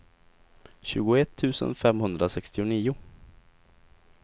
tjugoett tusen femhundrasextionio